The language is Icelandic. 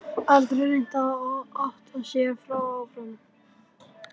Aldrei reynt að ota sjálfum mér áfram